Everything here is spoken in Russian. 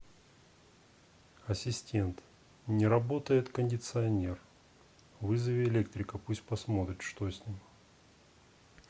ассистент не работает кондиционер вызови электрика пусть посмотрит что с ним